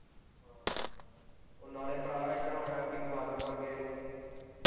ਹਾਂ ਨਾਲ਼ੇ ਭਰਾ ਇੱਧਰ ਹੁਣ ਐਂਤਕੀ ਬਾਦਲ ਮਰ ਗਿਆ ਹੀ।